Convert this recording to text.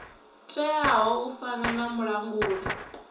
teaho u fana na mulanguli